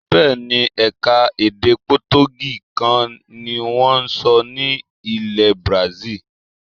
Bẹ́ẹ̀ ni, ẹ̀ka-èdè potogí kan ni wọ́n ń sọ ní ilẹ̀ bazil.